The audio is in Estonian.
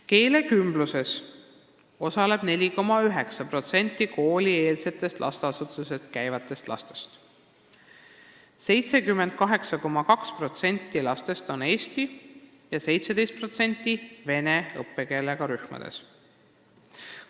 " Keelekümbluses osaleb 4,9% koolieelsetes lasteasutustes käivatest lastest: 78,2% lastest on eesti ja 17% vene õppekeelega rühmades.